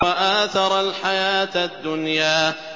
وَآثَرَ الْحَيَاةَ الدُّنْيَا